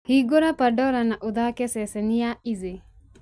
hingũra pandora na ũthaake ceceni ya easy